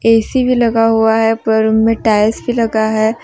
AC भी लगा हुआ है पूरा रूम में टाइल्स भी लगा है।